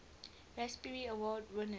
raspberry award winners